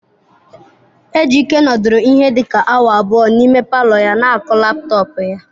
Ejike nọdụrụ ihe dị ka awa abụọ n'ime palọ ya na-akụ laptọọpụ ya.